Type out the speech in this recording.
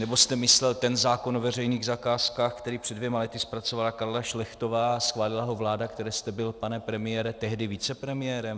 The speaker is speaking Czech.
Nebo jste myslel ten zákon o veřejných zakázkách, který před dvěma lety zpracovala Karla Šlechtová a schválila ho vláda, které jste byl, pane premiére, tehdy vicepremiérem?